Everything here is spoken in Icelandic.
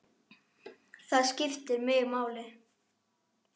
Það skiptir mig máli.